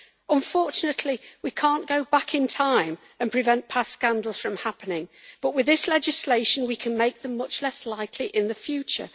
Unfortunately, we cannot go back in time and prevent past scandals from happening, but with this legislation, we can make them much less likely in the future.